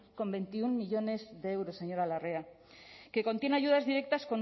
con veintiuno millónes de euros señora larrea que contiene ayudas directas